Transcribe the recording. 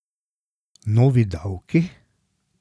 Novi davki?